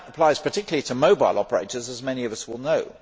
That applies particularly to mobile operators as many of us will know.